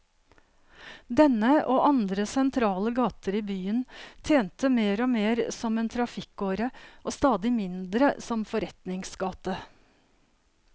Denne, og andre sentrale gater i byen, tjente mer og mer som en trafikkåre og stadig mindre som forretningsgate.